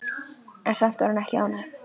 En samt var hún ekki ánægð.